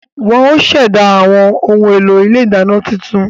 Wọ́n ó ṣẹ̀dá àwọn ohun èlò ilé ìdáná tuntun